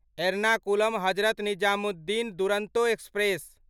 एर्नाकुलम ह.निजामुद्दीन दुरंतो एक्सप्रेस